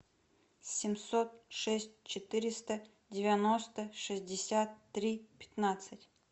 семьсот шесть четыреста девяносто шестьдесят три пятнадцать